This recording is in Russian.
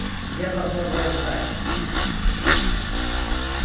я должна была знать ю